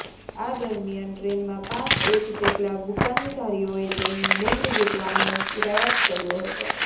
આ દરમિયાન ટ્રેનમાં પાંચ એક જેટલા બુકાનીધારીઓએ તેમની બેંગ ઝુંટવવાનો પ્રયાસ કર્યો હતો